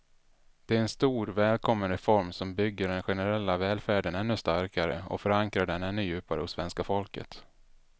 Det är en stor, välkommen reform som bygger den generella välfärden ännu starkare och förankrar den ännu djupare hos svenska folket.